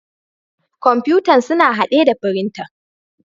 Kamfutan suna hadde da frintan.